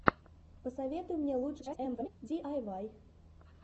посоветуй мне лучшую часть эмифэмили диайвай